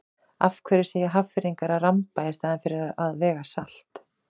Af hverju segja Hafnfirðingar að ramba í staðinn fyrir að vega salt?